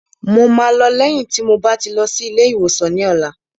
Mo máa lọ lé lẹ́yìn tí mo bá ti lọ sí ilé ìwòsàn ní ọ̀la